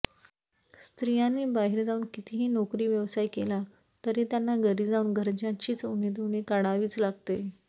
स्त्रियांनी बाहेर जाऊन कितीही नोकरी व्यवसाय केला तरी त्यांना घरी जाऊन घरच्यांची उणीधुणी काढावीच लागते